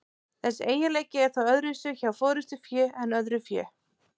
Þessi eiginleiki er þó öðruvísi hjá forystufé en öðru fé.